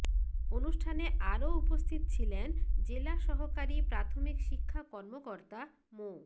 অনুষ্ঠানে আরও উপস্থিত ছিলেন জেলা সহকারী প্রাথমিক শিক্ষা কর্মকর্তা মো